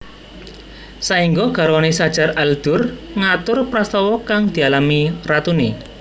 Saéngga garwané Shajar al Durr ngatur prastawa kang dialami ratuné